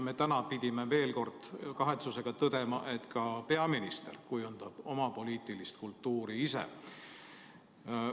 Täna me pidime veel kord kahetsusega tõdema, et ka peaminister kujundab oma poliitilist kultuuri ise.